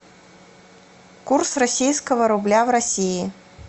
курс российского рубля в россии